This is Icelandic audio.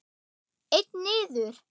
Einn niður!